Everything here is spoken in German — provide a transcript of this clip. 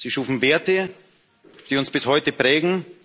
Sie schufen Werte, die uns bis heute prägen.